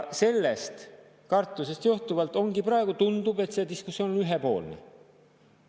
Sellest kartusest johtuvalt ongi praegu nii, et tundub, et see diskussioon on ühepoolne.